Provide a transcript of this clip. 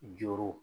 Joro